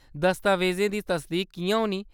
दस्तावेजें दी तसदीक किʼयां होनी ?